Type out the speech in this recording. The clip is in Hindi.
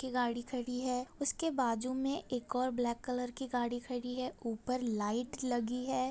की गाड़ी खड़ी है उसके बाजू में एक और ब्लैक कलर की गाड़ी खड़ी है ऊपर लाइट लगी है।